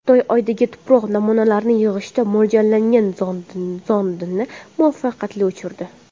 Xitoy Oydagi tuproq namunalarini yig‘ishga mo‘ljallangan zondini muvaffaqiyatli uchirdi .